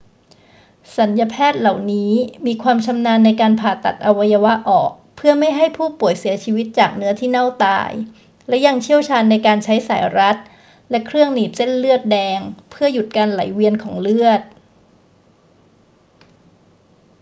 ศัลยแพทย์เหล่านี้มีความชำนาญในการผ่าตัดอวัยวะออกเพื่อไม่ให้ผู้ป่วยเสียชีวิตจากเนื้อที่เน่าตาย และยังเชี่ยวชาญในการใช้สายรัดและเครื่องหนีบเส้นเลือดแดงเพื่อหยุดการไหลเวียนของเลือด